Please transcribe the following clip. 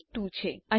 આ કેસ 2 છે